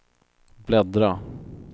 bläddra